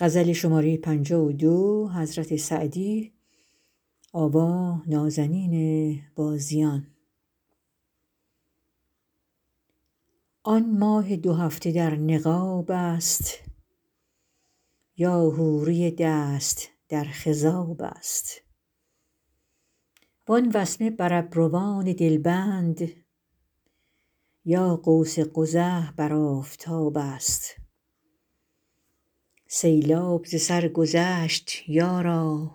آن ماه دو هفته در نقاب است یا حوری دست در خضاب است وان وسمه بر ابروان دلبند یا قوس قزح بر آفتاب است سیلاب ز سر گذشت یارا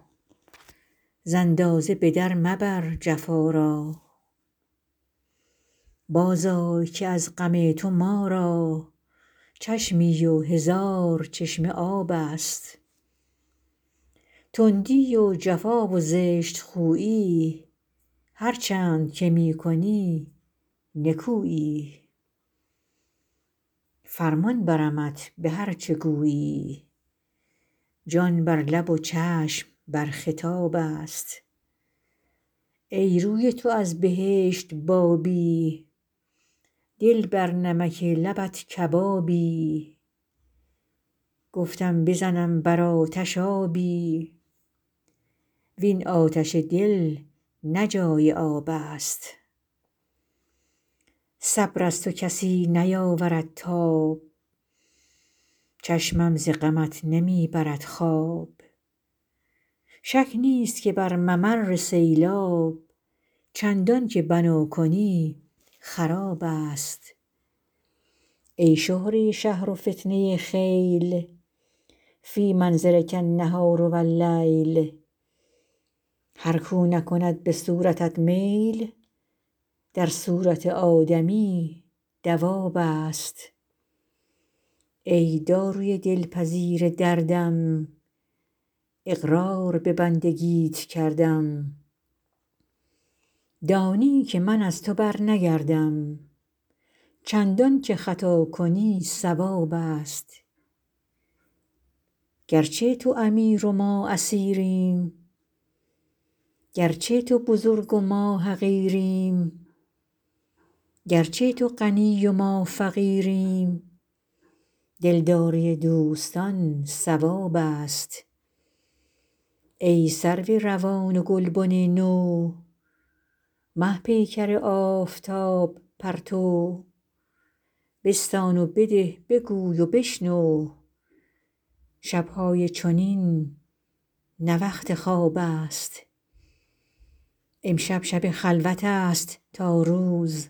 ز اندازه به در مبر جفا را بازآی که از غم تو ما را چشمی و هزار چشمه آب است تندی و جفا و زشت خویی هرچند که می کنی نکویی فرمان برمت به هر چه گویی جان بر لب و چشم بر خطاب است ای روی تو از بهشت بابی دل بر نمک لبت کبابی گفتم بزنم بر آتش آبی وین آتش دل نه جای آب است صبر از تو کسی نیاورد تاب چشمم ز غمت نمی برد خواب شک نیست که بر ممر سیلاب چندان که بنا کنی خراب است ای شهره شهر و فتنه خیل فی منظرک النهار و اللیل هر کاو نکند به صورتت میل در صورت آدمی دواب است ای داروی دلپذیر دردم اقرار به بندگیت کردم دانی که من از تو برنگردم چندان که خطا کنی صواب است گرچه تو امیر و ما اسیریم گرچه تو بزرگ و ما حقیریم گرچه تو غنی و ما فقیریم دلداری دوستان ثواب است ای سرو روان و گلبن نو مه پیکر آفتاب پرتو بستان و بده بگوی و بشنو شب های چنین نه وقت خواب است امشب شب خلوت است تا روز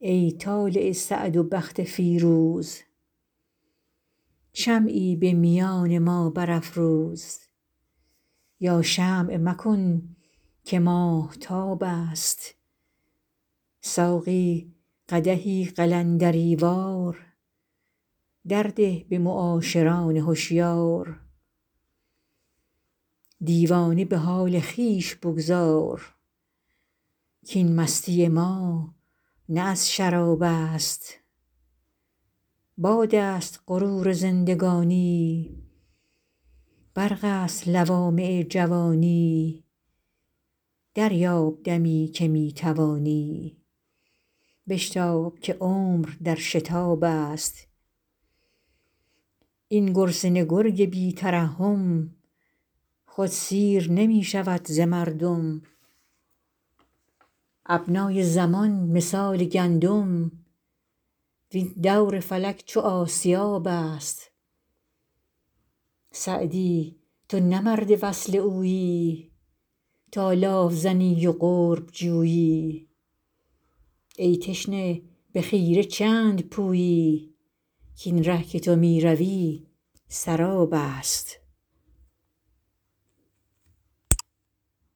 ای طالع سعد و بخت فیروز شمعی به میان ما برافروز یا شمع مکن که ماهتاب است ساقی قدحی قلندری وار در ده به معاشران هشیار دیوانه به حال خویش بگذار کاین مستی ما نه از شراب است باد است غرور زندگانی برق است لوامع جوانی دریاب دمی که می توانی بشتاب که عمر در شتاب است این گرسنه گرگ بی ترحم خود سیر نمی شود ز مردم ابنای زمان مثال گندم وین دور فلک چو آسیاب است سعدی تو نه مرد وصل اویی تا لاف زنی و قرب جویی ای تشنه به خیره چند پویی کاین ره که تو می روی سراب است